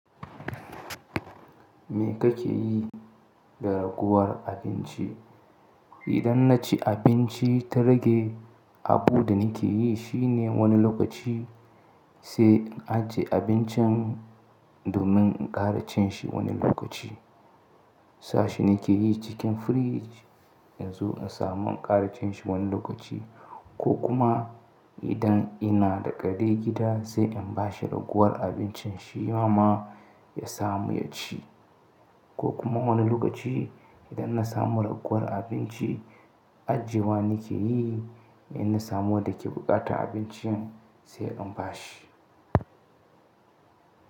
Me kake yi da raguwar abinci? Idan na ci abinci ta rage, abu da ni ke yi shi ne wani lokaci sai in ajiye abincin domin in ƙara cin shi wani lokaci. Sa shi nike yi cikin fridge in zo in samu in ƙara cin shi wani lokaci ko kuma idan ina da ƙare gida sai in ba shi raguwar abincin shima ya samu ya ci. Ko kuma wani lokaci idan na samu raguwar abinci, ajiyewa nike yi in na samu wanda ke buƙatan abincin sai in bashi.